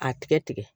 A tigɛ tigɛ